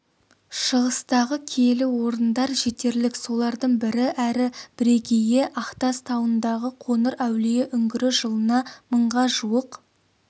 шығыстағы киелі орындар жетерлік солардың бірі әрі бірегейі ақтас тауындағы қоңыр әулие үңгірі жылына мыңға жуық